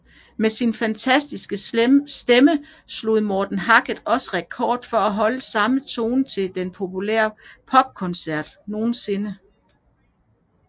Med sin fantastiske stemme slog Morten Harket også rekorden for at holde samme tone til en popkoncert nogensinde